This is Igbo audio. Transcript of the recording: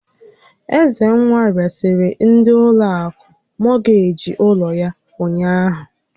Ezenwa resịrị ndị ụlọ akụ mọgeeji ụlọ yá ụnyaahụ.